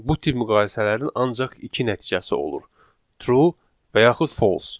Bu tip müqayisələrin ancaq iki nəticəsi olur: true və yaxud false.